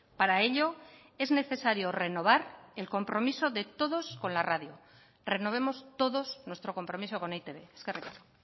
para ello es necesario renovar el compromiso de todos con la radio renovemos todos nuestro compromiso con e i te be eskerrik asko